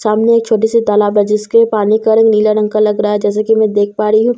सामने एक छोटी सी तालाब है जिसके पानी का रंग नीला रंग का लग रहा है जैसे कि मैं देख पा रही हूं सामने--